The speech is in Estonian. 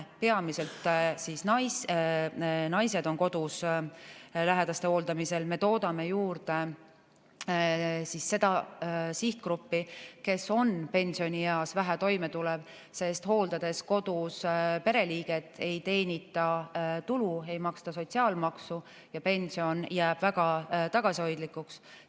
Peamiselt naised on kodus lähedaste hooldamisel ja me toodame juurde seda sihtgruppi, kes on pensionieas vähe toimetulev, sest hooldades kodus pereliiget, ei teenita tulu, ei maksta sotsiaalmaksu ja pension jääb väga tagasihoidlikuks.